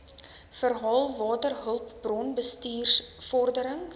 verhaal waterhulpbron bestuursvorderings